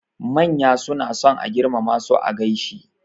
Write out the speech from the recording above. Manya suna son a girmama su a gaishe.